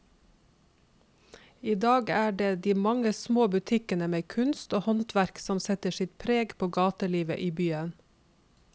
I dag er det de mange små butikkene med kunst og håndverk som setter sitt preg på gatelivet i byen.